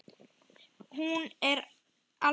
Hún er alvöru.